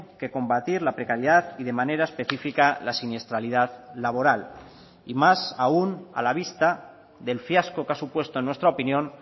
que combatir la precariedad y de manera específica la siniestralidad laboral y más aun a la vista del fiasco que ha supuesto en nuestra opinión